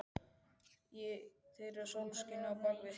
Þeir eru sólskinið á bak við heiminn.